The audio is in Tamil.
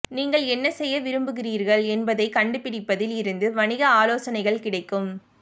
நீங்கள் என்ன செய்ய விரும்புகிறீர்கள் என்பதைக் கண்டுபிடிப்பதில் இருந்து வணிக ஆலோசனைகள் கிடைக்கும்